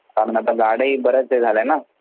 कारण झाड ही आता बरेच हे झाले ना.